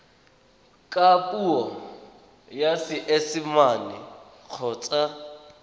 ka puo ya seesimane kgotsa